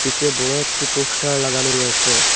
সে বড় একটি পোস্টার লাগানো রয়েসে।